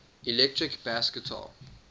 electric bass guitar